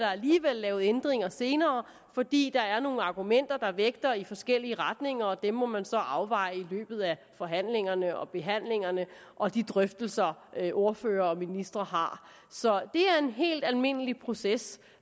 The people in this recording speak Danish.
lavet ændringer senere fordi der er nogle argumenter der vægter i forskellige retninger og dem må man så afveje i løbet af forhandlingerne og behandlingerne og de drøftelser ordførere og ministre har så det er en helt almindelig proces